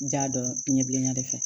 N ja dɔn n ɲɛ bilenya de fɛ